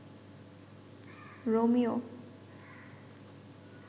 Romeo